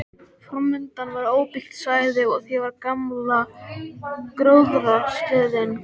Framundan var óbyggt svæði og á því var gamla gróðrarstöðin.